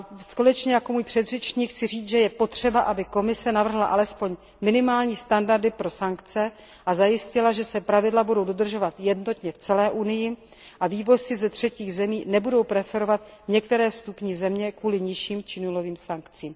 Stejně jako můj předřečník chci říct, že je potřeba, aby Komise navrhla alespoň minimální standardy pro sankce, a zajistila, že se pravidla budou dodržovat jednotně v celé Unii a vývozci ze třetích zemí nebudou preferovat některé vstupní země kvůli nižším či nulovým sankcím.